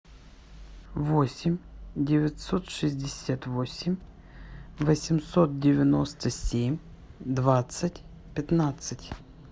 восемь девятьсот шестьдесят восемь восемьсот девяносто семь двадцать пятнадцать